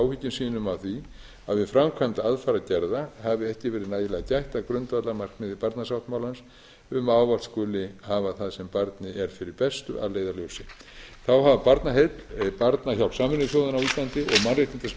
áhyggjum sínum af því að við framkvæmd aðfarargerða hafi ekki verið nægilega gætt að grundvallarmarkmiði barnasáttmálans um að ávallt skuli hafa það sem barni er fyrir bestu að leiðarljósi þá hafa barnaheill barnahjálp sameinuðu þjóðanna á íslandi og mannréttindaskrifstofa íslands lagt